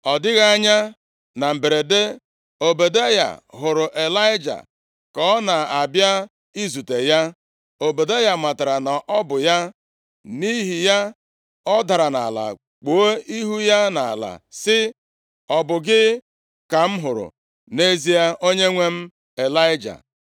Ọ dịghị anya, na mberede, Ọbadaya hụrụ Ịlaịja ka ọ na-abịa izute ya. Ọbadaya matara na ọ bụ ya. Nʼihi ya, ọ dara nʼala kpuo ihu ya nʼala sị, “Ọ bụ gị ka m hụrụ nʼezie, onyenwe m, Ịlaịja?”